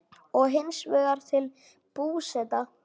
og hins vegar til Búseta.